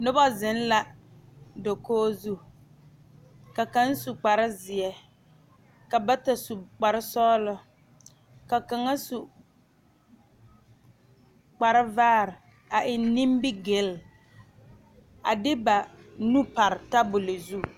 Noba zeŋ la dakogi zu ka kaŋ su kparezeɛ ka bata su kparesɔglɔ ka kaŋa su kparevaare a eŋ nimigil a de ba nu pare tabol zu.